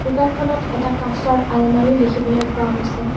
দোকানখনত এটা কাঁচৰ আলমৰি দেখিবলৈ পোৱা গৈছে।